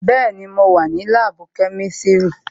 Bẹẹni, mo wà ní láàbù kẹ́mísírì"